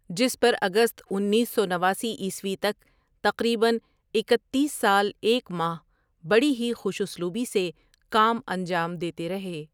جس پر اگست انیس سو نواسی عیسوی تک تقریباً اکتیس ؍سال ایک ماہ بڑی ہی خوش اسلوبی سے کام انجام دیتے رہے۔